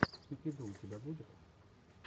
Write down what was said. кики ду у тебя будет